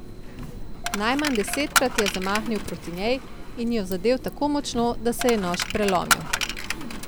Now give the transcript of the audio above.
Najmanj desetkrat je zamahnil proti njej in jo zadel tako močno, da se je nož prelomil.